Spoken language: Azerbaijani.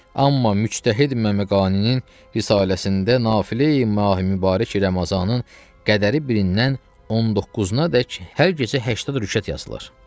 Amma Müçtəhid Məmeqaninin risaləsində Nafilə-yi Mahi Mübarək Ramazanın qədəri birindən 19-adək hər gecə 80 rükət yazılıbdır.